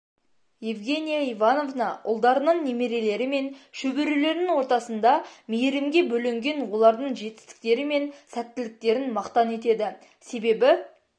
евгения ивановна ұлдарының немерелері мен шөберелерінің ортасында мейірімге бөленген олардың жетістіктері мен сәттіліктерін мақтан етеді себебі